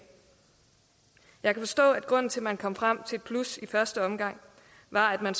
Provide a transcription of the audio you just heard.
jeg kan forstå at grunden til at man kom frem til et plus i første omgang var at man